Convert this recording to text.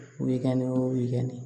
Wikɛni wo wikɛni